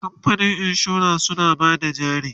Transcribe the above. kamfanin insura suna Bada jari